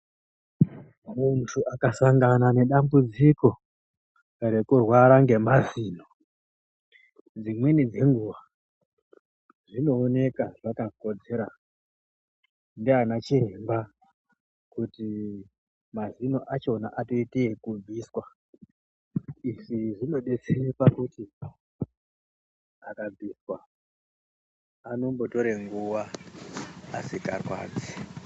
Muntu akasangana nedambudziko rekurwara ngemazino dzimweni dzenguwa zvinooneka zvakakodzera ndiana chiremba kuti mazino acho atoite ekubviswa izvi zvinodetsera pakuti akabviswa anombotore nguwa asikarwadzi.